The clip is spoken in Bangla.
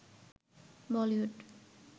বলিউড